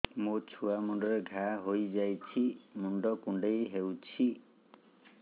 ମୋ ଛୁଆ ମୁଣ୍ଡରେ ଘାଆ ହୋଇଯାଇଛି ମୁଣ୍ଡ କୁଣ୍ଡେଇ ହେଉଛି